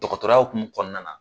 Dɔgɔtɔrɔya hukumu kɔnɔna na.